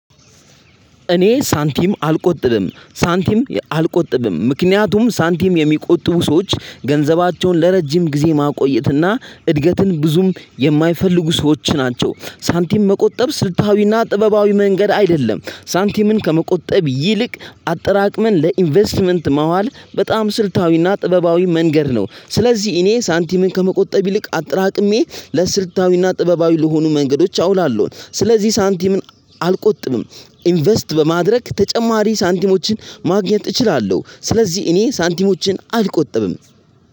እኔ ሳንቲም አልቆጥብም ሳንቲም አልቆጥብም ምክንያቱም ሳንቲም የሚቆጥቡ ሰዎች ገንዘባቸውን ለረጅም ጊዜ ማቆየትና እድገትን ብዙም የማይፈልጉ ሰዎች ናቸው። ሳንቲም መቆጠብ ስልታዊና ጥበባዊ መንገድ አይደለም ሳንቲምን ከመቆጠብ ይልቅ አጠራቅመን ለኢንቨስትመንት ማዋል በጣም ስልታዊና ጥበባዊ መንገድ ነው። ስለዚህ እኔ ሳንቲምን ከመቆጠብ ይልቅ አጠራቅሜ ለስልታዊና ጥበባዊ ለሆኑ መንገዶች አውላለሁን። ስለዚህ ሳንቲምን አልቆጥብም ኢንቨስት በማድረግ ተጨማሪ ሳንቲሞችን ማግኘት እችላለሁ። ስለዚህ እኔ ሳንቲሞችን አልቆጥብም።